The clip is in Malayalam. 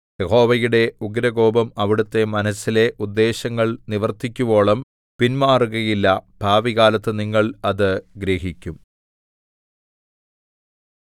യഹോവയുടെ ഉഗ്രകോപം അവിടുത്തെ മനസ്സിലെ ഉദ്ദേശ്യങ്ങൾ നിവർത്തിക്കുവോളം പിന്മാറുകയില്ല ഭാവികാലത്ത് നിങ്ങൾ അത് ഗ്രഹിക്കും